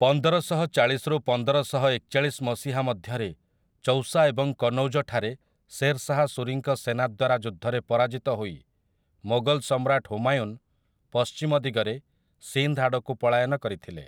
ପନ୍ଦରଶହଚାଳିଶରୁ ପନ୍ଦରଶହଏକଚାଳିଶ ମସିହା ମଧ୍ୟରେ ଚୌସା ଏବଂ କନୌଜ ଠାରେ ଶେର୍‌ଶାହା ସୁରୀଙ୍କ ସେନା ଦ୍ୱାରା ଯୁଦ୍ଧରେ ପରାଜିତ ହୋଇ, ମୋଗଲ ସମ୍ରାଟ ହୁମାୟୁନ୍ ପଶ୍ଚିମ ଦିଗରେ ସିନ୍ଧ୍ ଆଡ଼କୁ ପଳାୟନ କରିଥିଲେ ।